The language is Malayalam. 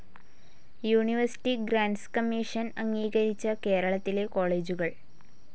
യൂണിവേഴ്സിറ്റി ഗ്രാന്റ്സ്‌ കമ്മീഷൻ അംഗീകരിച്ച കേരളത്തിലെ കോളേജുകൾ